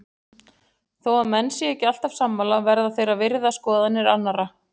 Þó að menn séu ekki alltaf sammála verða þeir að virða skoðanir annara.